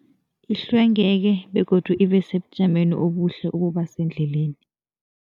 Ihlwengeke begodu ibe sebujameni obuhle ukuba sendleleni.